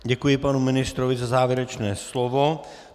Děkuji panu ministrovi za závěrečné slovo.